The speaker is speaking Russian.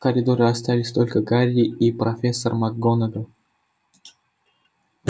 в коридоре остались только гарри и профессор макгонагалл